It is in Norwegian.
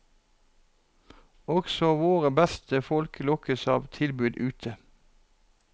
Også våre beste folk lokkes av tilbud ute.